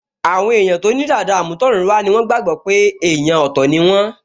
Àwọn èèyàn tó ní dàda àmútọ̀runwá ni wọ́n gbàgbọ́ pé èèyàn ọ̀tọ̀ ni wọ́n